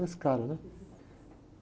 Era esse cara, né?